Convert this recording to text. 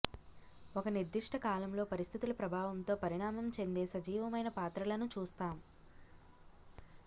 ఒక నిర్దిష్ట కాలంలో పరిస్థితుల ప్రభావంతో పరిణామం చెందే సజీవమైన పాత్రలను చూస్తాం